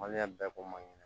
Maliyɛn bɛɛ ko maɲi